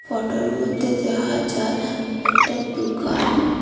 ফোটোর মধ্যে দেখা যায় একটা দুকান।